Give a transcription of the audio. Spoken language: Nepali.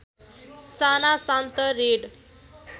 साना शान्त रेड